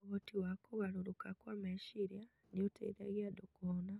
Ũhoti wa kũgarũrũka kwa meciria nĩ ũteithagia andũ kũhona